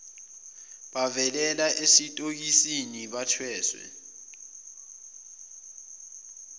bavalelwa esitokisini bethweswe